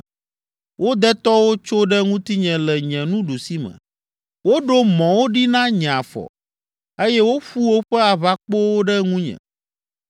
Wo detɔwo tso ɖe ŋutinye le nye ɖusime, woɖo mɔwo ɖi na nye afɔ eye woƒu woƒe aʋakpowo ɖe ŋunye.